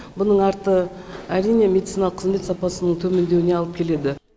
бұның арты әрине медициналық қызмет сапасының төмендеуіне алып келеді